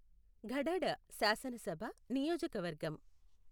గఢడ శాసనసభ నియోజకవర్గం